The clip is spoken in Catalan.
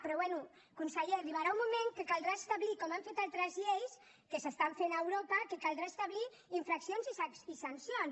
però bé conseller arribarà un moment que caldrà establir com han fet altres lleis que s’estan fent a europa infraccions i sancions